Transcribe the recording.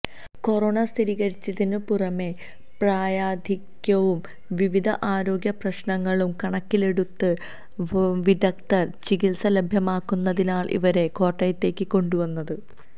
corona സ്ഥിരീകരിച്ചതിനു പുറമെ പ്രായാധിക്യവും വിവിധ ആരോഗ്യ പ്രശ്നങ്ങളും കണക്കിലെടുത്ത് വിദഗ്ധ ചികിത്സ ലഭ്യമാക്കുന്നതിനാണ് ഇവരെ കോട്ടയത്തേക്ക് കൊണ്ടുവന്നത്